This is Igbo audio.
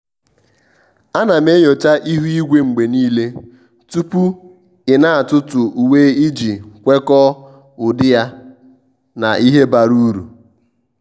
à nà m enyocha ihu igwe mgbe nìile tupu ị́ nà-átụ́tụ́ uwe iji kwekọ́ọ ụ́dị́ yá na ìhè bara uru.